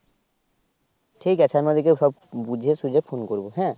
ঠিক আছে আমি সব বুঝিতে সুঝিয়ে phon করবো হ্যা